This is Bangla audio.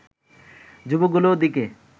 যুবকগুলোর দিকে